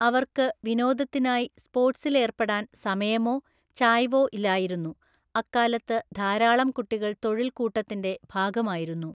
അവർക്ക് വിനോദത്തിനായി സ്പോർട്സിൽ ഏർപ്പെടാൻ സമയമോ ചായ്വോ ഇല്ലായിരുന്നു, അക്കാലത്ത് ധാരാളം കുട്ടികൾ തൊഴിൽ കൂട്ടത്തിന്റെ ഭാഗമായിരുന്നു.